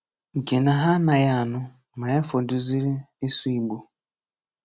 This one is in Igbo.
Nke na hà ànàghị ànụ́, mà yà fọdùzìrị ịsụ̀ Ìgbò.